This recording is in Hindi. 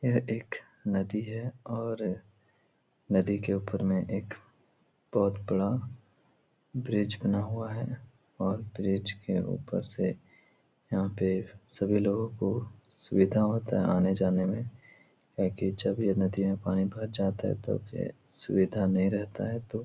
यह एक नदी है और अ नदी के उपर में एक बोहोत बड़ा ब्रिज बना हुआ है और ब्रिज के उपर से यहाँ पे सभी लोगो को सुविधा होता है आने-जाने में। है कि जब ये नदी में पानी भर जाता है तो फिर सुविधा नहीं रहता है तो--